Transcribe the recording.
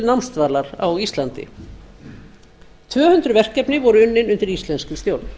námsdvalar á íslandi tvö hundruð verkefni voru unnin undir íslenskri stjórn